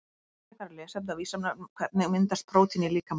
Frekara lesefni á Vísindavefnum Hvernig myndast prótín í líkamanum?